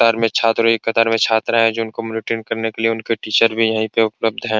कतार में छात्र है एक कतार में छात्रा है जिनको मैंटेन करने के लिए उनके टीचर भी यहीं पर उपलब्ध है।